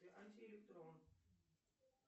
антиэлектрон